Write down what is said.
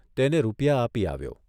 તેને રૂપિયા આપી આવ્યો.